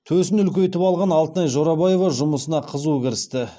төсін үлкейтіп алған алтынай жорабаева жұмысына қызу кірісті